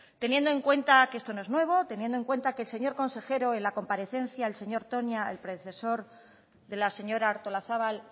teniendo en cuenta que esto no es nuevo teniendo en cuenta que el señor consejero en la comparecencia el señor toña el predecesor de la señora artolazabal